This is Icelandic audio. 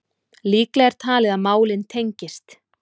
Líklegt er talið að málin tengist